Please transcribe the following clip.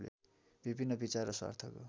विभिन्न विचार र स्वार्थको